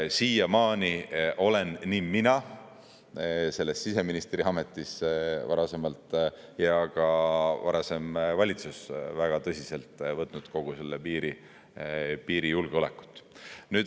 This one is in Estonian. Nii mina, kui ma olin siseministriametis, kui ka varasem valitsus võtsime väga tõsiselt kogu seda piirijulgeolekut.